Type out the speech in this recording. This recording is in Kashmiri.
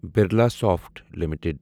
برلاسافٹ لِمِٹٕڈ